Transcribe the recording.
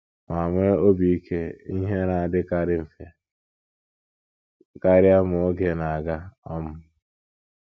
Ma nwee obi ike, ihe na - adịkarị mfe karịa ma oge na - aga. um